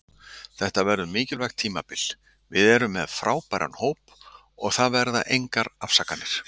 Þetta verður mikilvægt tímabil, við erum með frábæran hóp og það verða engar afsakanir.